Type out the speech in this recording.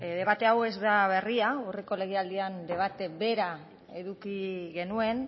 debate hau ez da berria aurreko legealdian debate bera eduki genuen